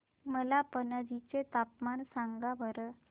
मला पणजी चे तापमान सांगा बरं